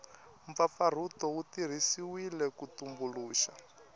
mpfapfarhuto wu tirhisiwile ku tumbuluxa